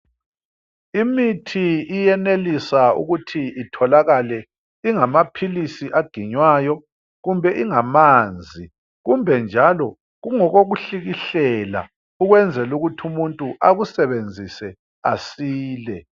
Imithi iyenelisa ukuthi itholakale ingamaphilisi aginywayo kumbe ingamanzi kumbe njalo kungokokuhlikihlela ukwenzela ukuthi umuntu akusebenzise asile.